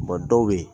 dɔw bɛ yen